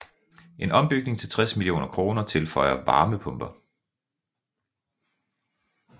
En ombygning til 60 mio kr tilføjer varmepumper